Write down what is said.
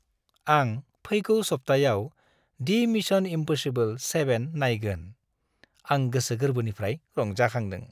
आं फैगौ सप्तायाव दि मिशन इम्पसिबोल 7 नायगोन, आं गोसो गोरबोनिफ्राय रंजाखांदों।